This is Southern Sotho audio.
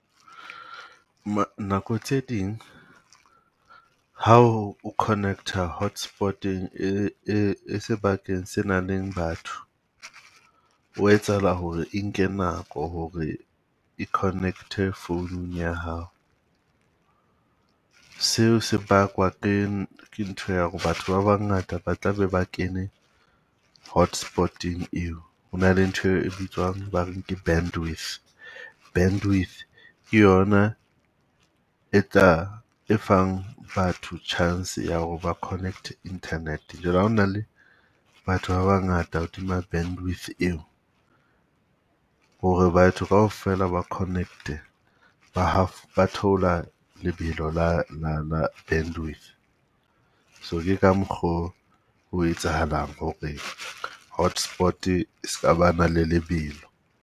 Nako tse ding ha o connect-a hotspot-eng e e e sebakeng se nang le batho, ho etsahala hore e nke nako ho re e connect-e founung ya hao. Seo se bakwa ke ke ntho ya hore batho ba bangata ba tlabe ba kene hotspot-eng eo. Ho na le ntho e bitswang ba reng ke bandwidth, bandwidth ke yona e tla e fang batho chance ya hore ba connect-e internet. Jwale ha ona le batho ba bangata hodima bandwidth eo, hore batho kaofela ba connect-e. Ba ba theola lebelo la la la bandwidth, so ke ka mokgo ho etsahalang hore hotspot-e e ska ba na le lebelo.